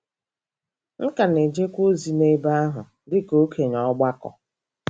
M ka na-ejekwa ozi n’ebe ahụ dị ka okenye ọgbakọ.